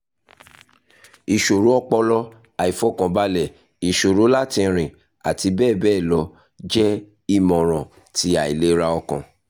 iṣoro ọpọlọ aifọkanbalẹ iṣoro lati rin ati bẹbẹ lọ jẹ imọran ti ailera ọkàn